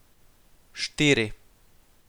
Štiri.